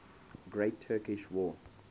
great turkish war